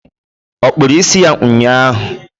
ọ kpụrụ isi ụnyaahụ?